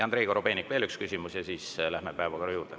Andrei Korobeinik, veel üks küsimus, ja siis läheme päevakorra juurde.